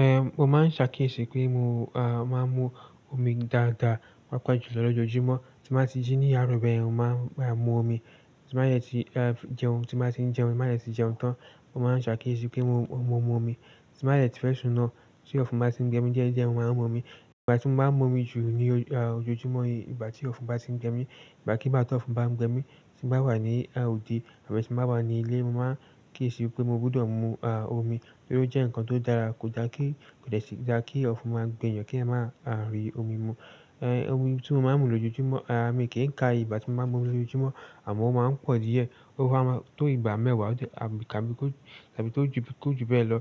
Ehn, mo máa ń ṣe àkíyèsí pé mo máa ń mu omi dáadáa, pàápàá jùlọ lójoojúmọ́. Tí mo bá ti jí ní àárọ̀ bẹ́yen, mo máa mu omi, tí mo bá yẹ ti jẹun, tí mo bá ti jẹun, mo má yẹ ti jẹun tán, mo máa ń ṣe àkíyèsí pé mo mú omi. Tí mo bá yẹ ti fẹ́ sùn náà, tí ọ̀fún bá ti ń gbẹ mí díẹ̀ díẹ̀, mo máa ń mú omi. Ìgbà tí mo bá mú omi jù lójoojúmọ́ yìí, ìgbà tí ọ̀fún bá ti ń gbẹ mí, ìgbà kí bá tó fún bá ń gbẹ mí, tí mo bá wà ní òde àti tí mo bá wà ní ilé, mo máa ń kíyèsi pé mo gbọdọ̀ mu omi torí ó jẹ́ ǹkan tó dára. Kò dáa kí, kò jẹ́ sí dá kí ọ̀fún máa ń gbẹ èèyàn kí èèyàn máa rí omi mú. Omi tí mo máa ń mu lójoojúmọ́, mi kì n ka ìgbà tí mo máa ń mu lójoojúmọ́ àmọ́ ó máa ń pọ̀ díẹ̀. O ba má to ìgbà mẹwa abi kò ju bè ló,